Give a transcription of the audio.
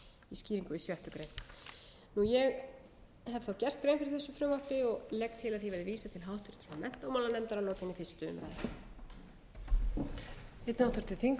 skýringu við sjöttu grein ég hef þá gert grein fyrir þessu frumvarpi og legg til að því verði vísað til háttvirtrar menntamálanefndar að lokinni fyrstu umræðu